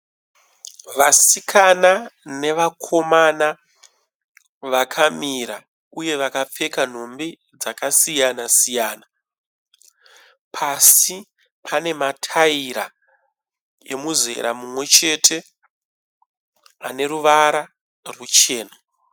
Vasikana nevakomana vakamira, uye vakapfeka nhumbi dzakasiyana-siyana Pasi panemataira emuzera mumwechete aneruvara rwuchena.